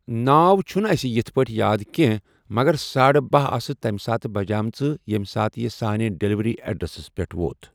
ناو چھُنہٕ اَسہِ یِتھ پٲٹھۍ یاد کینٛہہ مگر سا ساڑٕ باہہ آسہٕ تمہِ ساتہٕ بَجیمژٕ ییٚمہِ ساتہٕ یہِ سانہِ ڈٮ۪لؤری اٮ۪ڈرَس پٮ۪ٹھ ووت۔